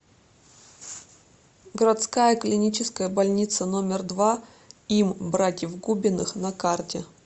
городская клиническая больница номер два им братьев губиных на карте